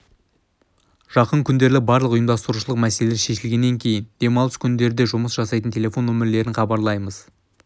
жақын күндері барлық ұйымдастырушылық мәселелері шешілгеннен кейін демалыс күндері де жұмыс жасайтын телефон нөмірлерін хабарлаймыз